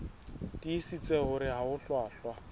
tiisitse hore ha ho hlwahlwa